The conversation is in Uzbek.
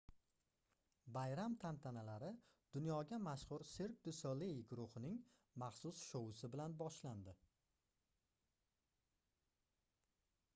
bayram tantanalari dunyoga mashhur cirque du soleil guruhining maxsus shoui bilan boshlandi